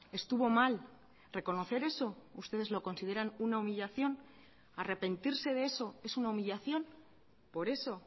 estuvo mal reconocer eso ustedes lo consideran una humillación arrepentirse de eso es una humillación por eso